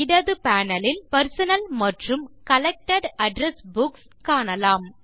இடது பேனல் லில் பெர்சனல் மற்றும் கலெக்டட் அட்ரெஸ் புக்ஸ் இரண்டையும் காணலாம்